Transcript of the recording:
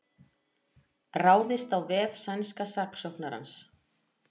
Ráðist á vef sænska saksóknarans